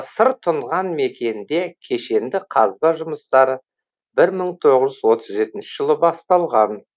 сыр тұнған мекенде кешенді қазба жұмыстары бір мың тоғыз жүз отыз жетінші жылы басталған